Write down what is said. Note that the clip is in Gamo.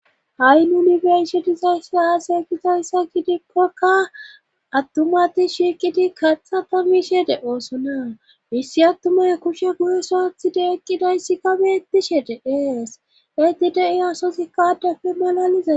ha7i nunifersitizaysa aase gizayssa gidikkokka attumati shiiqidi katha tamishe de oosona hissi attumay kushe guhesoathide eqqidayssikka beettishe deees eti de7i asosi ka adafe malalizae